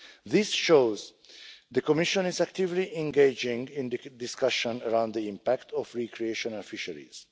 This shows that the Commission is actively engaging in the discussion around the impact of recreational fisheries.